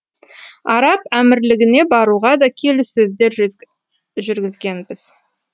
араб әмірлігіне баруға да келіссөздер жүргізгенбіз